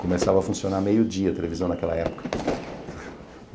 Começava a funcionar meio-dia a televisão naquela época.